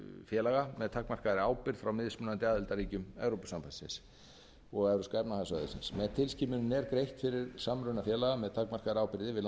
félaga með takmarkaðri ábyrgð frá mismunandi aðildarríkjum evrópusambandsins og evrópska efnahagssvæðisins með tilskipuninni er greitt fyrir samruna félaga með takmarkaðri ábyrgð yfir